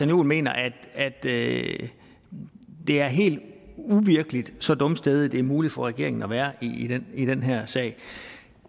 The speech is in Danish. juhl mener at det er helt uvirkeligt så dumstædig det er muligt for regeringen at være i den i den her sag